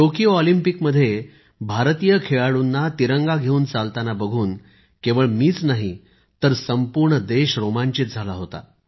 Tokyo Olympic मध्ये भारतीय खेळाडूंना तिरंगा घेऊन चालतांना बघून केवळ मीच नाही तर संपूर्ण देश रोमांचित झाला होता